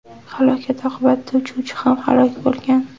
Halokat oqibatida uchuvchi ham halok bo‘lgan.